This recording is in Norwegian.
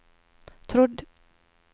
trodd